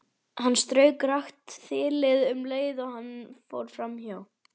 Hann strauk rakt þilið um leið og hann fór hjá.